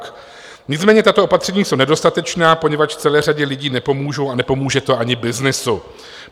Nicméně tato opatření jsou nedostatečná, poněvadž celé řadě lidí nepomůžou a nepomůže to ani byznysu.